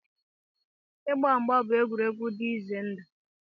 Ịgba mgba bụ egwuregwu dị ize ndụ.